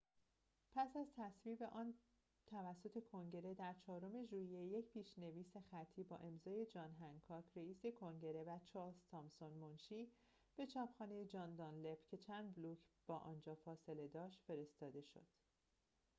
پس از تصویب آن توسط کنگره در چهارم ژوئیه یک پیش‌نویس خطی با امضای جان هنکاک رِئیس کنگره و چارلز تامسون منشی به چاپخانه جان دانلپ که چند بلوک با آنجا فاصله داشت فرستاده شد